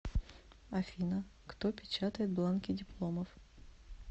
афина кто печатает бланки дипломов